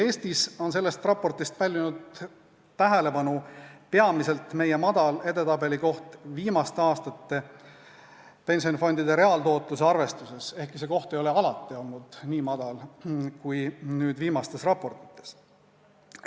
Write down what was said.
Eestis on selle raporti puhul pälvinud tähelepanu peamiselt meie madal edetabelikoht viimaste aastate pensionifondide reaaltootluse arvestuses, ehkki see koht ei ole alati olnud nii madal kui viimastes raportites.